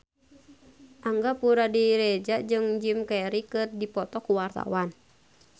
Angga Puradiredja jeung Jim Carey keur dipoto ku wartawan